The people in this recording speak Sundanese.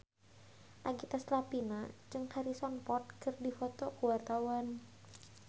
Nagita Slavina jeung Harrison Ford keur dipoto ku wartawan